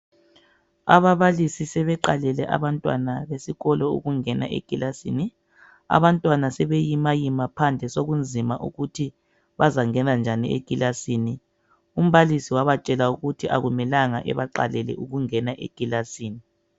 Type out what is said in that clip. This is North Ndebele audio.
Ababalisi sebeqalele abantwana besikolo ukungena ekilasini, abantwana sebeyimayima phandle sekunzima ukuthi bazangena njani ekilasini. Umbalisi wabatshela ukuthi akumelanga ebaqalele ukungena ekilasini.